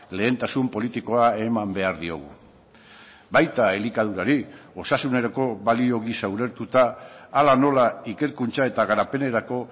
lehentasun politikoa eman behar diogu baita elikadurari osasunerako balio gisa ulertuta hala nola ikerkuntza eta garapenerako